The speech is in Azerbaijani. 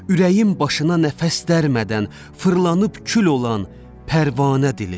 Ürəyim başına nəfəs dərmədən fırlanıb kül olan pərvanə dilim.